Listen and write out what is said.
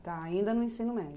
Tá, ainda no ensino médio.